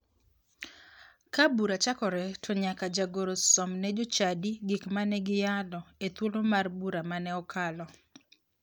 Ka bura chakore to nyaka jagoro som ne jochadi gik mane giyalo e thuolo mar bura mane okalo.